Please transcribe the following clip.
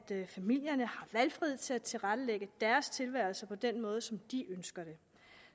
familierne har valgfrihed til at tilrettelægge deres tilværelse på den måde som de ønsker det